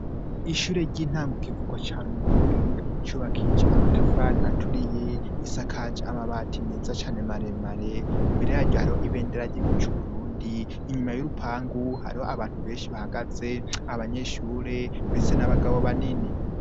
Ishure ry'intango kivugo ca Rumonge, cubakije amatafari aturiye isakaje amabati neza cane maremare imbere yaryo hari ibendera ry'igihugu c'Uburundi inyuma y'urupangu, hariho abantu benshi bahagaze abanyeshure ,mbese n'abagabo banini.